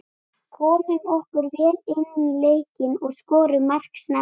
Komum okkur vel inní leikinn og skorum mark snemma.